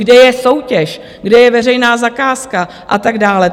Kde je soutěž, kde je veřejná zakázka a tak dále?